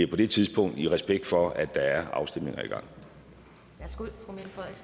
på det tidspunkt i respekt for at der er afstemninger